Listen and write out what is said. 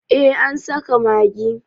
eh an saka magi